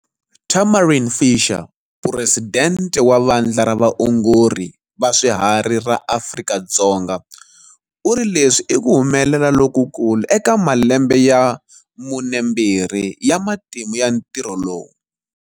Tamarin Fisher, Puresidente wa Vandla ra Vaongori va Swiharhi ra Afrika-Dzonga, u ri leswi i ku humelela lokukulu eka malembe ya 42 ya matimu ya ntirho lowu.